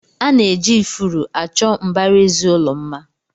Ana eji ifuru achọ mbaraezi ụlọ mma.